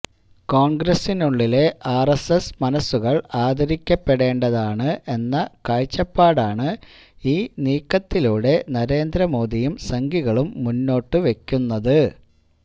കോൺഗ്രസിനുള്ളിലുള്ള RSS മനസുകൾ ആദരിക്കപ്പെടേണ്ടതാണ് എന്ന കാഴ്ചപ്പാടാണ് ഈ നീക്കത്തിലൂടെ നരേന്ദ്ര മോദിയും സംഘികളും മുന്നോട്ട് വെക്കുന്നത്